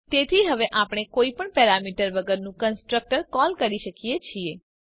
તેથી હવે આપણે કોઈ પણ પેરામીટર વગરનું કન્સ્ટ્રક્ટર કોલ કરી શકીએ છીએ